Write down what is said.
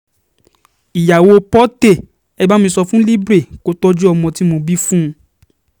ìyàwó porté e bá mi sọ fún libre kó tọ́jú ọmọ tí mo bí fún un